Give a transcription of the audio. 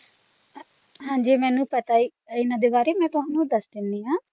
ਹਾਂ ਜੀ ਮੈਨੂੰ ਪਤਾ ਹੈ ਇਨ੍ਹਾਂ ਦੇ ਬਾਰੇ ਤੇ ਮੈਂ ਤੁਹਾਨੂੰ ਦੱਸ ਦਿੰਨੀ ਹਾਂ